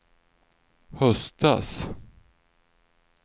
höstas